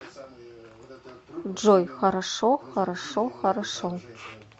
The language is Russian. джой хорошо хорошо хорошо